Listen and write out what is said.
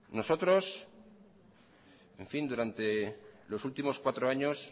nosotros durante los últimos cuatro años